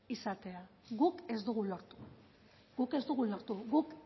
izatea guk ez dugu lortu guk ez dugu lortu guk